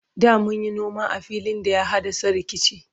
da munyi noma a filin da ya haddasa rikici